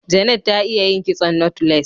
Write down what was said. Janet ta iya yin kitson " knotless"